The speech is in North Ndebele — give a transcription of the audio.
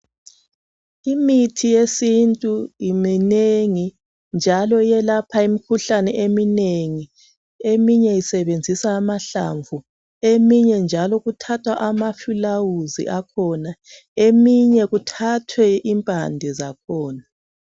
Imithi yesintu minengi njalo iyelapha imikhuhlane iminengi eminye isebenzisa amahlamvu eminye njalo ithatha amaflawuzi akhona eminye kuthathwe impande zakhona